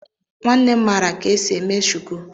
Nwannem mara ka esi eme shuku.